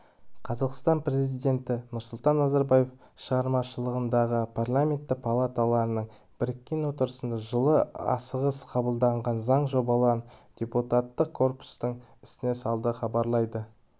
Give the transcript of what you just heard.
қазақстан президенті нұрсұлтан назарбаев шақырылымдағы парламенті палаталарының біріккен отырысында жылы асығыс қабылданған заң жобаларын депутаттық корпустың есіне салды хабарлайды